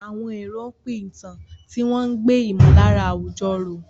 Àwọn èrò pín ìtàn, tí wọ́n ń gbé ìmọ̀lára àwùjọ ró.